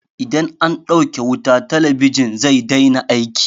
Idan an ɗauke wuta, talabijin zai daina aiki.